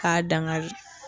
K'a dan kari